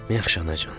Yaxşı anacan.